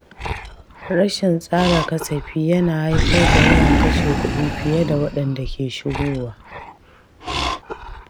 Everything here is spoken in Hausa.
Rashin tsara kasafi yana haifar da yawan kashe kuɗi fiye da waɗanda ke shigowa.